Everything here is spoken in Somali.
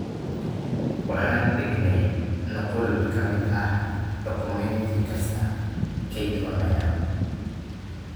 Waxaan dhignay nuqul ka mid ah dukumeenti kasta kayd online ah.